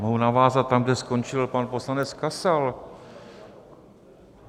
Mohu navázat tam, kde skončil pan poslanec Kasal.